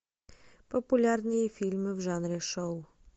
популярные фильмы в жанре шоу